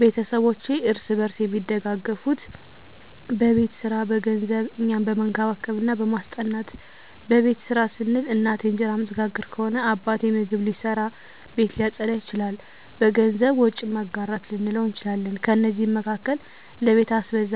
ቤተስቦቼ እርስ በርስ አሚደጋገፋት በቤት ሰራ፣ በገንዘብ፣ እኛን በመንከባከብ እና በማስጠናት። በቤት ስራ ስንል፦ እናቴ እንጀራ እምትጋግር ከሆነ አባቴ ምግብ ሊሰራ፣ ቤት ሊያፀዳ ይችላል። በገንዘብ፦ ወጪን መጋራት ልንለው እንችላለን። ከነዚህም መካከል ለቤት አስቤዛ፣